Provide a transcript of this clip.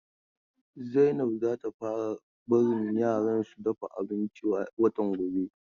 Zainab za ta fara barin yaran su dafa abinci watan gobe.